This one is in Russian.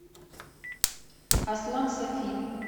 аслан сафин